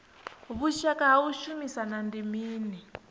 vhushaka ha u shumisana ndi mini